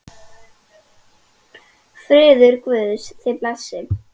Friður Guðs þig blessi.